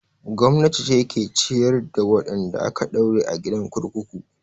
Gwamnati ce ke ciyar da wadanda aka daure a gidan kurkuku.